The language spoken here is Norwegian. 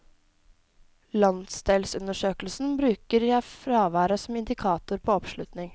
I landsdelsundersøkelsen bruker jeg fraværet som indikator på oppslutning.